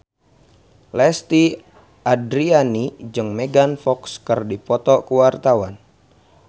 Lesti Andryani jeung Megan Fox keur dipoto ku wartawan